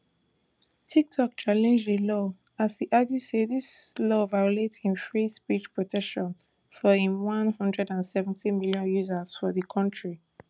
tiktok challenge di law as e argue say dis law violate im free speech protections for im one hundred and seventy million users for di kontri